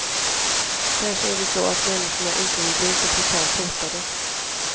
Kanske är det så att människorna inte vill bli så brutalt hotade.